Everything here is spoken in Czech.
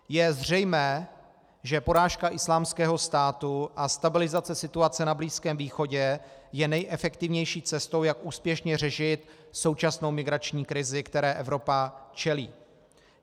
Je zřejmé, že porážka Islámského státu a stabilizace situace na Blízkém východě je nejefektivnější cestou, jak úspěšně řešit současnou migrační krizi, které Evropa čelí.